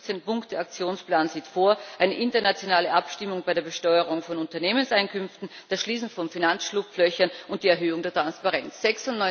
Der 15 Punkte Aktionsplan sieht eine internationale Abstimmung bei der Besteuerung von Unternehmenseinkünften, das Schließen von Finanzschlupflöchern und die Erhöhung der Transparenz vor.